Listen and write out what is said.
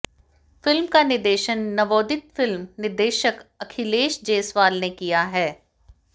film का निर्देशन नवोदित फिल्म निर्देशक अखिलेश जेसवाल ने किया है